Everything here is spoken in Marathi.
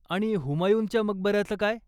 आणि हुमायूनच्या मकबऱ्याचं काय?